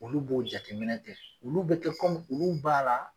Olu b'o jateminɛ kɛ , olu be kɛ olu b'a la